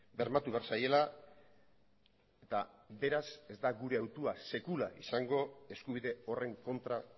bermatu behar zaiela eta beraz ez da gure hautua sekula izango eskubide horren kontra